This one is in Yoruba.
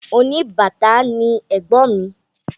Oníbàtá ni ẹ̀gbọ́n mi.